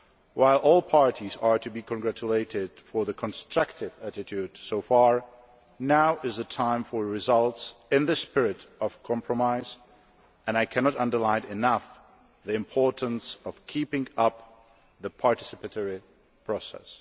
While all parties are to be congratulated for the constructive attitude so far, now is the time for results in the spirit of compromise, and I cannot underline enough the importance of keeping up the participatory process.